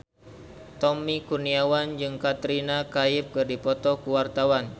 Tommy Kurniawan jeung Katrina Kaif keur dipoto ku wartawan